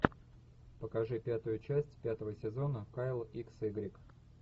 покажи пятую часть пятого сезона кайл икс игрек